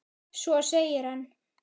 Svo segir hann